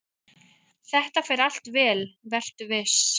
"""Þetta fer allt vel, vertu viss!"""